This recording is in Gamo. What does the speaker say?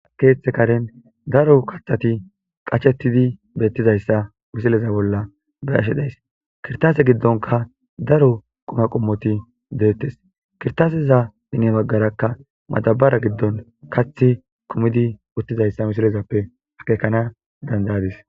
keeththe karen daro kathati qachettidi beettizayssa misileza bolla barashedays kirtaase giddonka daro quma qommoti deettes kirtaaseza bine baggarakka madabara giddon kath kumidi uttizayssa misilezappe akekana dandayadis